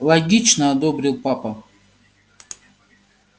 логично одобрил папа